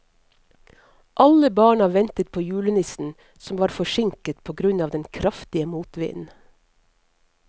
Alle barna ventet på julenissen, som var forsinket på grunn av den kraftige motvinden.